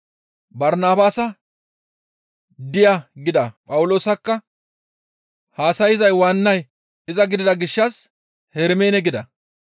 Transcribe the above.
Barnabaasa, «Diya» gida Phawuloosakka haasayza waannay iza gidida gishshas, «Hermeene» gida.